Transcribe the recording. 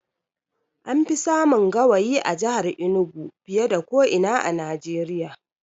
An fi samun gawayi a jahar Enugu fiye da ko ina a Najeriya